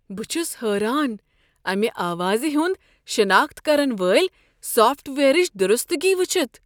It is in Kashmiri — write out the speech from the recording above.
بہٕ چھس حیران امہ آوازِ ہُند شناخت کرن وٲلۍ سافٹ وییرٕچ درستگی وٕچھتھ۔